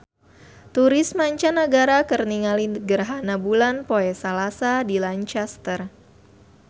Turis mancanagara keur ningali gerhana bulan poe Salasa di Lancaster